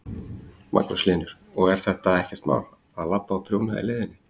Magnús Hlynur: Og er þetta ekkert mál, að labba og prjóna í leiðinni?